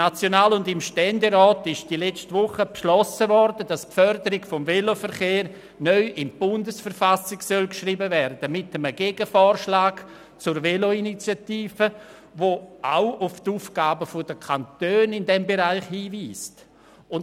Mit einem Gegenvorschlag zur Veloinitiative, der auch auf die Aufgabe der Kantone in diesem Bereich hinweist, haben letzte Woche National- und Ständerat beschlossen, dass die Förderung des Veloverkehrs nun in die Bundesverfassung geschrieben werden soll.